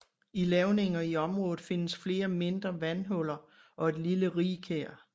I lavninger i området findes flere mindre vandhuller og et lille rigkær